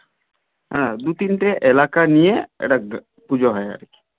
হ্যাঁ দু তিনটে এলাকা নিয়ে একটা পুজো হয় আর কি.